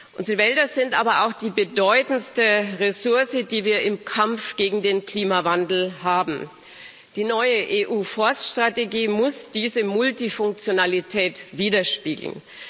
Unsere Wälder sind aber auch die bedeutendste Ressource, die wir im Kampf gegen den Klimawandel haben. Die neue EU Forststrategie muss diese Multifunktionalität widerspiegeln.